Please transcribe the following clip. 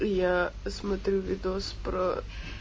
я смотрю видос про